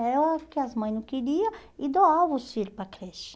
Era o que as mães não queriam e doavam os filhos para creche.